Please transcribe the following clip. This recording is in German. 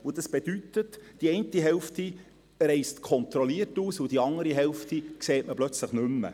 Das bedeutet, die eine Hälfte reist kontrolliert aus, und die andere Hälfte sieht man plötzlich nicht mehr;